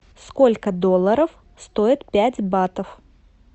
сколько долларов стоит пять батов